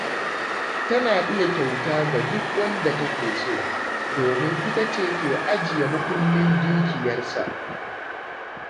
Tana iya kyauta ga wanda take so, domin ita ce ke ajiya muƙullin dukiyarsa.